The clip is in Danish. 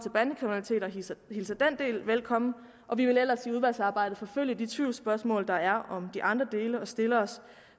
hilser den del velkommen og vi vil ellers i udvalgsarbejdet forfølge de tvivlsspørgsmål der er om de andre dele og stiller os